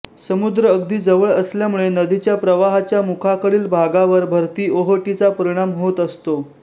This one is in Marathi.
समुद्र अगदी जवळ असल्यामुळे नदीच्या प्रवाहाच्या मुखाकडील भागावर भरतीओहोटीचा परिणाम होत असतो